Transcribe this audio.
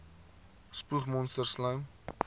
spoeg monsters slym